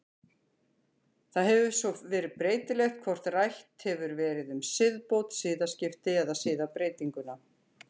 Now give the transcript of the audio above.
Það hefur svo verið breytilegt hvort rætt hefur verið um siðbót, siðaskipti eða siðbreytingu.